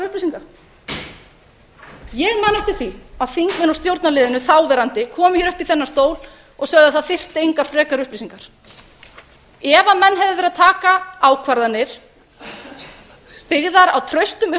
upplýsinga ég man eftir því að þingmenn úr stjórnarliðinu þáverandi komu hér upp í þennan stól og sögðu að það þyrfti engar frekari upplýsingar ef menn hefðu verið að taka ákvarðanir byggðar á traustum